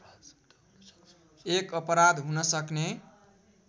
एक अपराध हुनसक्ने